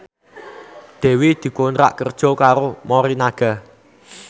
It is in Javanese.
Dewi dikontrak kerja karo Morinaga